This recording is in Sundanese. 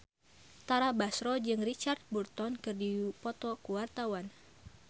Tara Basro jeung Richard Burton keur dipoto ku wartawan